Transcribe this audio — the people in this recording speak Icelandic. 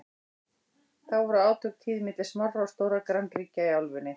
þá voru átök tíð milli smárra og stórra grannríkja í álfunni